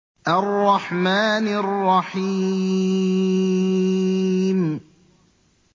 الرَّحْمَٰنِ الرَّحِيمِ